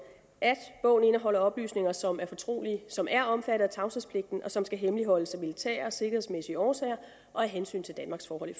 at bogen indeholder oplysninger som er fortrolige som er omfattet af tavshedspligten og som skal hemmeligholdes af militære og sikkerhedsmæssige årsager og af hensyn til danmarks forhold